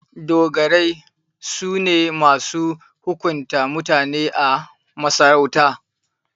Dogarai su ne masu hukunta mutane a masarauta.